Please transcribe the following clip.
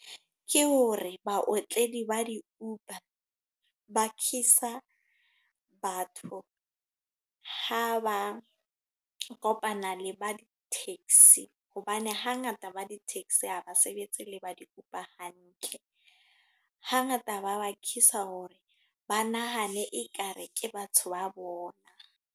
Ke hore baotledi ba di-Uber, ba bakisa batho, ha ba kopana le ba di-taxi. Hobane hangata ba di-taxi, ha basebetsi le ba di-Uber hantle. Ha ngata ba bakisa hore, ba nahane ekare ke batho ba bona.